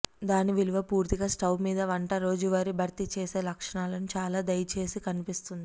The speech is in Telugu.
దాని విలువ పూర్తిగా స్టవ్ మీద వంట రోజువారీ భర్తీ చేసే లక్షణాలను చాలా దయచేసి కనిపిస్తుంది